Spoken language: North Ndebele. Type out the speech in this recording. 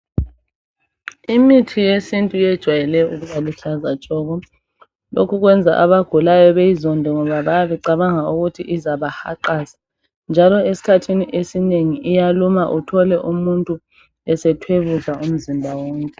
Imithi yesintu yejwayele ukuba luhlaza tshoko. Lokhu kwenza abagulayo beyizonde ngoba bayabe becabanga ukuthi izabahaqaza njalo esikhathini esinengi iyaluma uthole umuntu esethwebuza umzimba wonke.